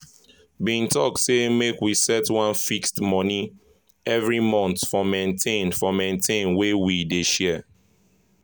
bin talk say make we set one fixed money every month for maintain for maintain wey we dey share.